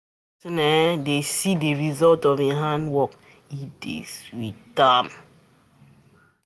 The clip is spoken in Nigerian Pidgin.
When person um dey see di um result of im hand work, e dey sweet um